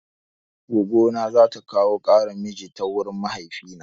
Goggo na zata kawo ƙaran mijin ta wurin mahaifina.